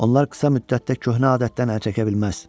Onlar qısa müddətdə köhnə adətdən əl çəkə bilməz.